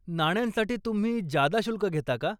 नाण्यांसाठी तुम्ही जादा शुल्क घेता का?